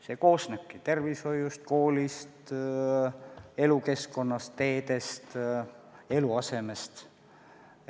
See koosneb tervishoiust, koolist, elukeskkonnast, teedest, eluasemest.